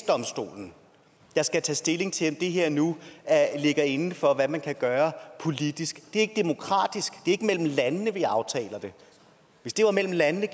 domstolen der skal tage stilling til om det her nu ligger inden for hvad man kan gøre politisk det er ikke demokratisk er ikke mellem landene vi aftaler det hvis det var mellem landene